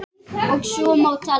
Og svo má telja.